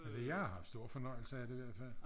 altså jeg har haft stor fornøjelse af det i hvert fald